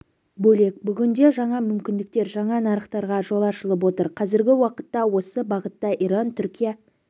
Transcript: бөлек бүгінде жаңа мүмкіндіктер жаңа нарықтарға жол ашылып отыр қазіргі уақытта осы бағытта иран түркия